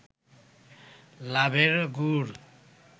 লাভের গুড়